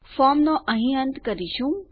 ફોર્મનો અહીં અંત કરીશું